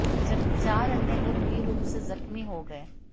जबकि चार अन्य गंभीर रूप से जख्मी हो गए